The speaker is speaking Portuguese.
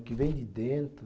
O que vem de dentro.